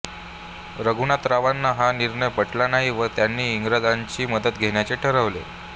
रघुनाथरावांना हा निर्णय पटला नाही व त्यांनी इंग्रजांची मदत घेण्याचे ठरवले